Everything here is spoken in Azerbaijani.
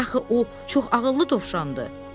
Axı o çox ağıllı dovşandır.